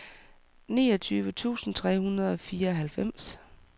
niogtyve tusind tre hundrede og fireoghalvfems